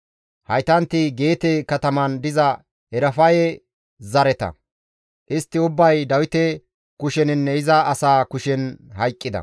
Haytanti Geete kataman diza Erafaye zareta; istti ubbay Dawite kusheninne iza asaa kushen hayqqida.